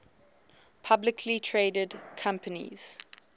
publicly traded companies